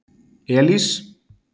Elís